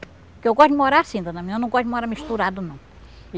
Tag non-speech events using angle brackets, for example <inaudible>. Porque eu gosto de morar assim, dona, <unintelligible> eu não gosto de morar misturado não.